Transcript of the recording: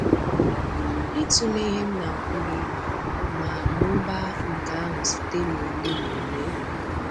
N'ịtụle ihe m na-akwụ gị, ma mụbaa nke ahụ site na ole?